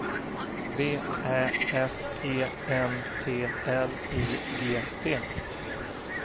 V Ä S E N T L I G T